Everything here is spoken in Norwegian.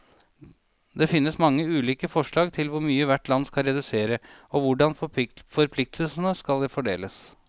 Det finnes mange ulike forslag til hvor mye hvert land skal redusere, og hvordan forpliktelsene skal fordeles.